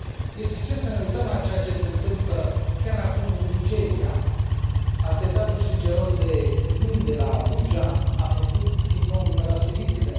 Este suficient să ne uităm la ceea ce se întâmplă chiar acum în Nigeria atentatul sângeros de luni de la Abuja a făcut, din nou, numeroase victime.